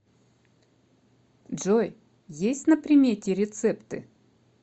джой есть на примете рецепты